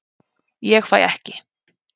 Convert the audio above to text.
Ég fæ ekki